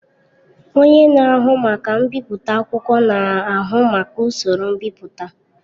Onye na-ahụ maka mbipụta akwụkwọ na-ahụ maka usoro mbipụta.